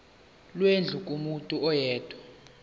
lwendlu kumuntu oyedwa